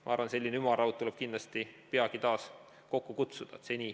Ma arvan, et selline ümarlaud tuleb kindlasti peagi taas kokku kutsuda.